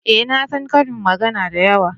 eh na san ƙarin magana da yawa